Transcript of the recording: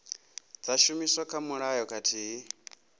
dza shumiswa kha mulayo khathihi